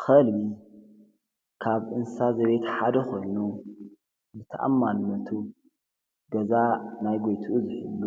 ኸልቢ ካብ እንሳ ዘቤት ሓደ ኾኑ ብተኣማንመቱ ገዛ ናይ ጐይትኡ ዘሕሉ